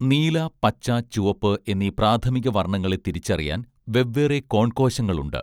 നീല പച്ച ചുവപ്പ് എന്നീ പ്രാഥമിക വർണങ്ങളെ തിരിച്ചറിയാൻ വെവ്വേറെ കോൺ കോശങ്ങളുണ്ട്